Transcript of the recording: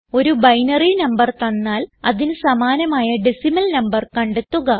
ഒരു binary number തന്നാൽ അതിന് സമാനമായ ഡെസിമൽ നംബർ കണ്ടെത്തുക